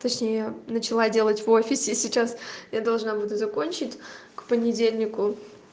точнее начала делать в офисе сейчас я должна буду закончить к понедельнику